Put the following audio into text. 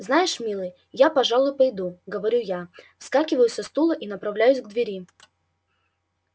знаешь милый я пожалуй пойду говорю я вскакиваю со стула и направляюсь к двери